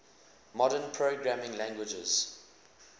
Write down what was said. modern programming languages